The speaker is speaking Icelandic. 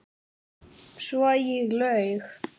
Svo ég laug.